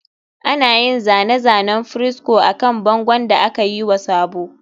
Ana yin zane-zanen fresco akan bangon da aka yi wa sabo